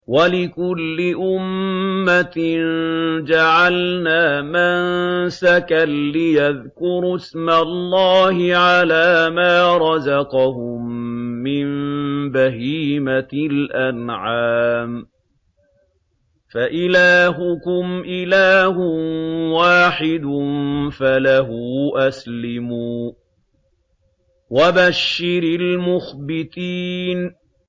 وَلِكُلِّ أُمَّةٍ جَعَلْنَا مَنسَكًا لِّيَذْكُرُوا اسْمَ اللَّهِ عَلَىٰ مَا رَزَقَهُم مِّن بَهِيمَةِ الْأَنْعَامِ ۗ فَإِلَٰهُكُمْ إِلَٰهٌ وَاحِدٌ فَلَهُ أَسْلِمُوا ۗ وَبَشِّرِ الْمُخْبِتِينَ